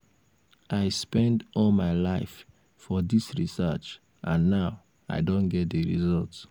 i spend all my life for dis research and now i don get the result